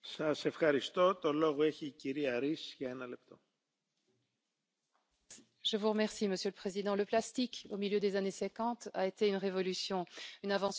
Monsieur le Président, le plastique, au milieu des années 1950, a été une révolution, une invention qui a tout bouleversé les produits, les quantités, les possibilités, les pratiques et nos comportements aussi.